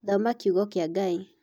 Thoma kiugo kĩa Ngai.